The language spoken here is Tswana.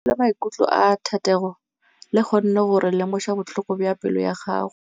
Lentswe la maikutlo a Thategô le kgonne gore re lemosa botlhoko jwa pelô ya gagwe.